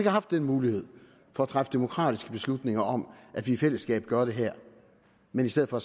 haft den mulighed for at træffe demokratiske beslutninger om at vi i fællesskab gør det her men i stedet for